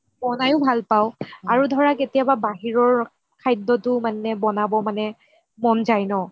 বনাইও ভাল পাও আৰু ধৰা কেতিয়াবা বাহিৰৰ খাদ্যটো মানে বনাব মানে মন যাই ন